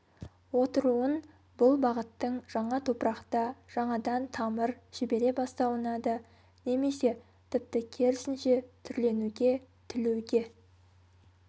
отыруын бұл бағыттың жаңа топырақта жаңадан тамыр жібере бастауына да немесе тіпті керісінше түрленуге түлеуге